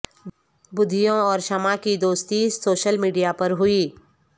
بدھیو اور شمع کی دوستی سوشل میڈیا پر ہوئی